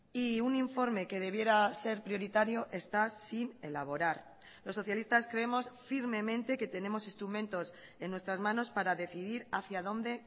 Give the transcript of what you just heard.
y un informe que debiera ser prioritario está sin elaborar los socialistas creemos firmemente que tenemos instrumentos en nuestras manos para decidir hacia donde